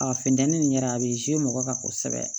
A funtɛni nin yɛrɛ a bɛ mɔgɔ kan kosɛbɛ